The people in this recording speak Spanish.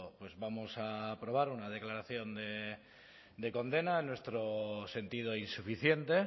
pues vamos a aprobar una declaración de condena en nuestro sentido insuficiente